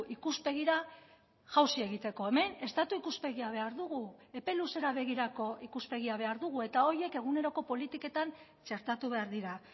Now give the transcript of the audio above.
ikuspegira jausi egiteko hemen estatu ikuspegia behar dugu epe luzera begirako ikuspegia behar dugu eta horiek eguneroko politiketan txertatu behar dira